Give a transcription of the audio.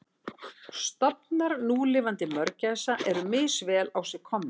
Stofnar núlifandi mörgæsa eru misvel á sig komnir.